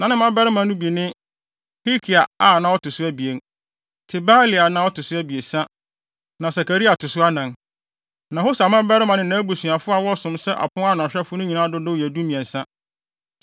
Na ne mmabarima no bi ne: Hilkia a na ɔto so abien. Tebalia na ɔto so abiɛsa na Sakaria to so anan. Na Hosa mmabarima ne nʼabusuafo a wɔsom sɛ apon ano ahwɛfo no nyinaa dodow yɛ dumiɛnsa (13).